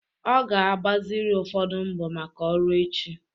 Ọ ga-agbaziri ụfọdụ mbọ maka ọrụ echi